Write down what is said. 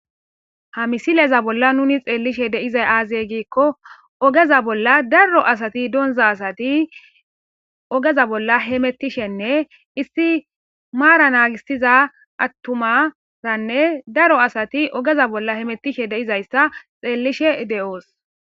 hamisileza bolla nuni xeellishe deizay aazey giikko ogeza bolla daro asati donza asati ogeza bolla hemettishenne isti maara naagisiza attumaranne daro asati ogeza bolla hemettishe deizayssa xeellishe de7oos